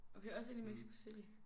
Okay også ind i Mexico City?